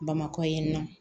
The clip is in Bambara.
Bamakɔ yan nɔ